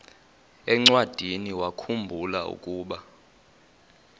encwadiniwakhu mbula ukuba